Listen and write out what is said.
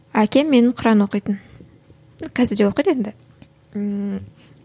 әкем менің құран оқитын қазір де оқиды енді ммм